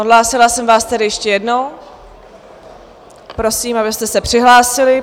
Odhlásila jsem vás tedy ještě jednou, prosím, abyste se přihlásili.